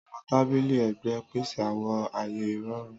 Àwọn tabili ẹgbẹ n pese awọn aaye irọrun.